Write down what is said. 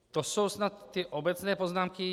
To jsou snad ty obecné poznámky.